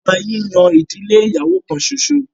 ọba yìí yan ìdílé ìyàwó kán ṣoṣo.